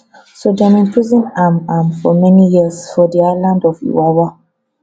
so dem imprison am am for many years for di island of iwawa